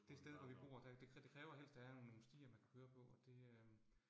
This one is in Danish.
Det sted hvor vi bor, der det det kræver helst at have nogle nogle stier, man kan køre på, og det øh